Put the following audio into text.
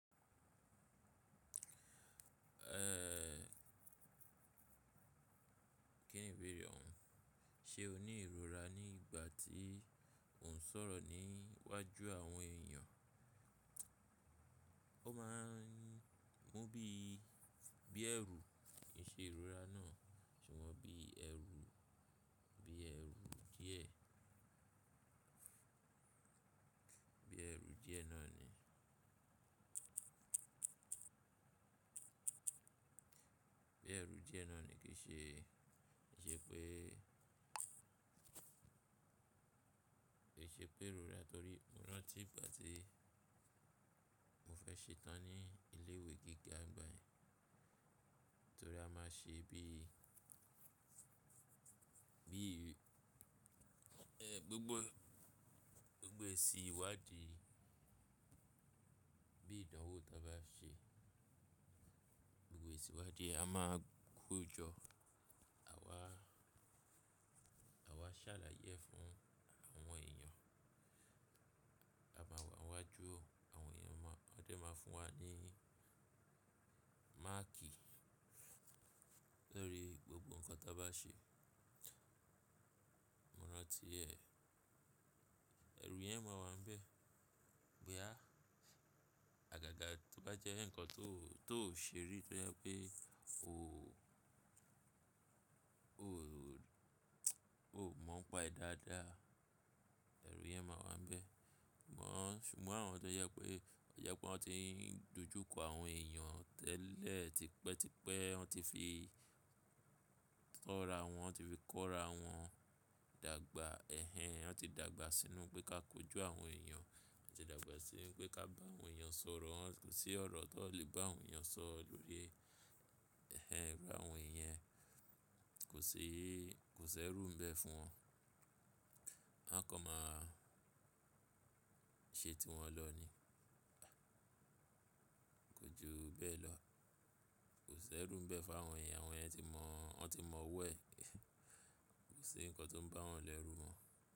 Kíni ìbéèrè ọ̀un, ṣe o ní ìrora ní ìgbà tí ó ń sọ̀rọ̀ ní iwájú àwọn èèyàn? Ó máa ń mú bí i, bí ẹrú kìṣe ìrora náà, ṣùgbọ́n bí ẹrú, bí ẹrú díẹ̀. Bí ẹrú díẹ̀ náà ni, bí ẹrú díẹ̀ náà ni kí ṣe, jẹ́ pé, ki se pé ìrora torí mo rántí ìgbà tí mo fẹ́ ṣetán ní ilé ìwé gíga ń gbà yẹ́n. Torí a má ṣe bí i, bí i, ẹ́ gbogbo, gbogbo èsì iwadi, bí ìdánwò ta bá ṣe. Gbogbo èsì iwadi a máa kójọ, à wa, à wa ṣàlàyé e fún àwọn èèyàn. Àwa nwá jú àwọn èèyàn máa, wọn dẹ̀ máa fún wa ní máàkì lórí gbogbo nǹkan tí a bá ṣe. Mo rántí ẹ, ẹrù yẹn máa wà níbẹ̀. Boyà àgàgà tó bá jẹ́ ǹkan tó, tó ò ṣe rí tó jẹ́ pé o, o, o ò mọ̀ ọ́n pa e dáadáa. Ẹrù yẹn máa wà níbẹ̀. Ṣùgbọ́n àwọn tó jẹ pé, to jẹ pé wọ́n ti ń dojú kọ àwọn èèyàn tẹ́lẹ̀, tipẹ́, tipẹ́ wọ́n ti fi kọ́ra wọn, wọ́n ti fi kọ́ra wọn dàgbà ẹ̀hẹn. Wọ́n ti dàgbà sínú pé ká kojú àwọn èèyàn. Wọ́n ti dàgbà sí pé ká bá àwọn èèyàn sọ̀rọ̀. Kò sí ọ̀rọ̀ tó n lè bá àwọn èèyàn sọ̀rọ̀ lórí e ẹ̀hẹn iru àwọn yen Kò ṣe, kò ṣe ẹrú ń bẹ́ fún wọn. Wọ́n kan máa ṣe tí wọn lọ ni. Kò ju bẹ́ẹ̀ lọ. Kò ṣe ẹrú ń bẹ́ fún àwọn yen. Àwọn yèn ti mọ̀, wọ́n ti mọ̀ ọ́wo ẹ̀. Kò sí ǹkan tó ń bá wọn lẹ́rú mo.